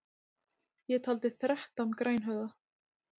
Ég taldi þrettán grænhöfða.